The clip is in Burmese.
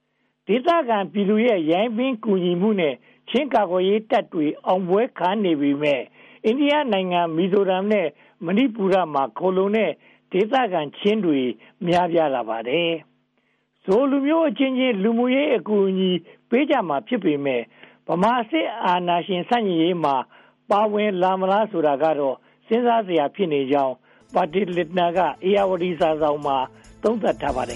။ ဒေသခံပြည်သူတွေရဲ့ ကူညီရိုင်းပင်းမှုနဲ့ ချင်းကာကွယ်ရေးတပ်တွေ အောင်ပွဲခံနေပေမယ့် အိန္ဒိယနိုင်ငံ မီဇိုရမ်နဲ့ မဏီပူမှာ ခိုလှုံနေတဲ့ ဒေသခံချင်းတွေ များပြားလာပါတယ်။ ချင်းလူမျိုးအချင်းချင်း လူမှုရေးအကူအညီ ပေးကြမှာ ဖြစ်ပေမယ့်၊ ဗမာစစ်အာဏာရှင် ဆန့်ကျင်ရေးမှာ ပါဝင်လာမလားဆိုတာကတော့ စဉ်းစားစရာ ဖြစ်နေကြောင်း Bertil Lintner က ဧရာဝတီစာစောင်မှာ သုံးသပ်ထားပါတယ်